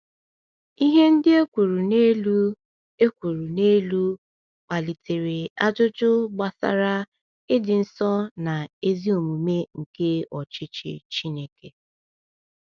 Ihe ndị e kwuru n’elu e kwuru n’elu kpalitere ajụjụ gbasara ịdị nsọ na ezi omume nke ọchịchị Chineke.